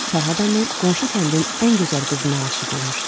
Fərhad əmi qonşu kəndin ən gözəl qızına aşiq olmuşdu.